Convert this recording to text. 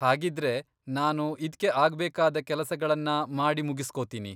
ಹಾಗಿದ್ರೆ ನಾನು ಇದ್ಕೆ ಆಗ್ಬೇಕಾದ ಕೆಲಸಗಳನ್ನ ಮಾಡಿಮುಗಿಸ್ಕೊತೀನಿ.